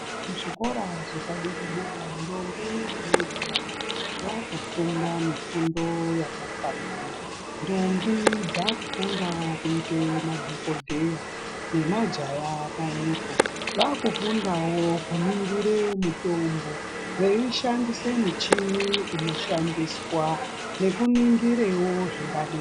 Muzvikora zvepadera dera ndombi namajaya vakufunda mifundo yakafanana. Ndombi dzakundawo kuite madhokodheya, nemajaya pamwepo. Vakufundawo kuningire mutombo, veishandise michini inoshandiswa, nekuningirewo zvingadiwa.